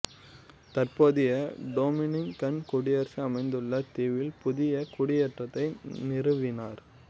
தற்போதைய டொமினிக்கன் குடியரசு அமைந்துள்ள தீவில் புதிய குடியேற்றத்தை நிறுவினார்